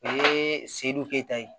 O ye sedu keyita ye